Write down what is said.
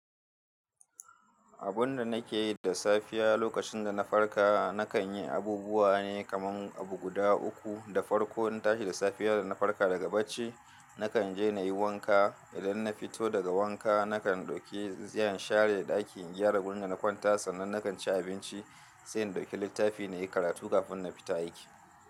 Abun da nake yi da safiya lokacin da na farka, na kan yi abubuwa ne kaman abu guda uku. Da farko in tashi da safiyar da na farka daga bacci, na kan je na yi wanka. Idan na fito daga wanka, na kan ɗauki tsintsiya share da ɗakin, gyara gurin da na kwanta sannan na kan ci abinci, sai in ɗauki littafi na yi karatu kafin na fita aiki.